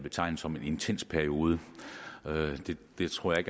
betegne som en intens periode det tror jeg